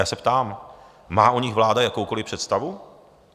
Já se ptám - má o nich vláda jakoukoliv představu?